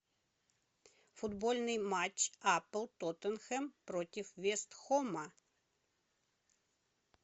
футбольный матч апл тоттенхэм против вест хэма